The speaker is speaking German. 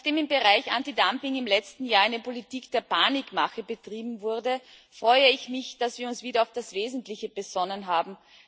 Nachdem im Bereich Antidumping im letzten Jahr eine Politik der Panikmache betrieben wurde, freue ich mich, dass wir uns wieder auf das Wesentliche besonnen haben.